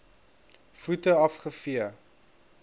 voete af gevee